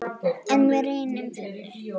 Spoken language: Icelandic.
En við reynum, fyrir þig.